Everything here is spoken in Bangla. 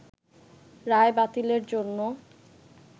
রায় বাতিলের জন্য